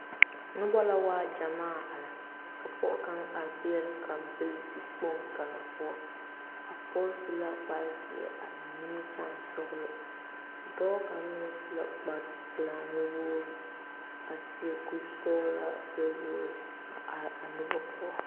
Nobɔ la waa gyamaa are ka pɔɔ kaŋ are peɛle kampile dikpoŋ kaŋa poɔ a pɔge su la kparezeɛ a eŋ nimikyaane sɔglɔ dɔɔ kaŋ meŋ su la kparepelaa nuwogre a seɛ kurisɔglaa gbɛ wogre a are a nobɔ poɔ.